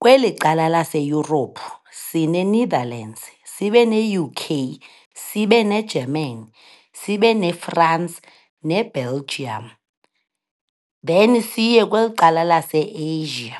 Kweli cala laseYurophu sineNetherlands, sibe neUK, sibe neGermany, sibe neFrance neBelgium. Then siye kweli cala laseAsia,